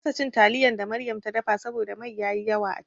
Na kasa cin taliyan da Maryam ta dafa saboda mai yayi yawa a ciki.